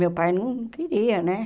Meu pai não queria, né?